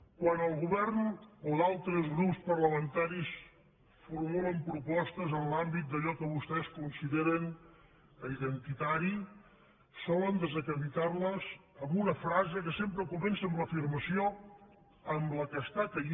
quan el govern o altres grups parlamentaris formulen propostes en l’àmbit d’allò que vostès consideren identitari solen desacreditar les amb una frase que sempre comença amb l’afirmació amb la que cau